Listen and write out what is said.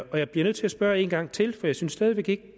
og jeg bliver nødt til at spørge en gang til for jeg synes stadig